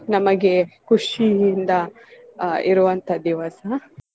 ನಮಗೆ ಖುಷಿಯಿಂದ ಆಹ್ ಇರುವಂತ ದಿವಸ.